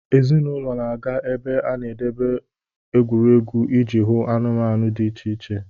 Ezinụlọ na-aga ebe a na-edebe egwuregwu iji hụ anụmanụ dị iche iche.